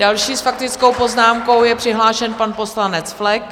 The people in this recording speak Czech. Další s faktickou poznámkou je přihlášen pan poslanec Flek.